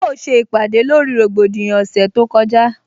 A ó se ìpàdè lórí rògbòdìyàn ọ̀sẹ̀ tó kọjá